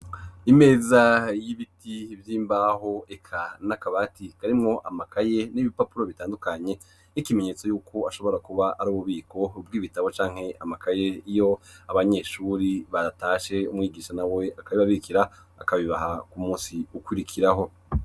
Imeza y'ibiti vy'imbaho eka n'akabati karimwo amakaye n'ibipapuro bitandukanye, nk'ikimenyetso y'uko ashobora kuba ari ububiko bw'ibitabo canke amakaye, iyo abanyeshure batashe umwigisha nawe akabibabikira akabibaha ku munsi ukwirikiraho.